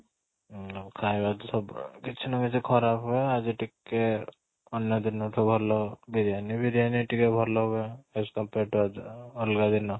ଉଁ ଖାଇବା ତ ସବୁବେଳେ କିଛି ନୁହେଁ ଯେ ଖରା ହୁଏ ଆଜି ଟିକେ ଅନ୍ୟ ଦିନ ଠୁ ଭଲ biriyani biriyani ଟିକେ ଭଲ ହୁଏ as compare to ଅଲଗା ଦିନ